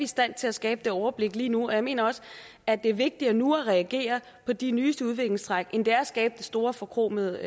stand til at skabe det overblik lige nu jeg mener også at det er vigtigere nu at reagere på de nyeste udviklingstræk end det er at skabe det store forkromede